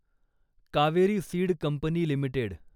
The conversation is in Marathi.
Kaveri seed company limited